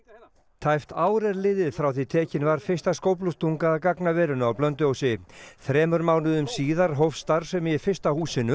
tæpt ár er liðið frá því tekin var fyrsta skóflustunga að gagnaverinu á Blönduósi þremur mánuðum síðar hófst starfsemi í fyrsta húsinu